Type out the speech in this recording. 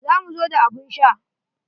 Za mu zo da abun sha.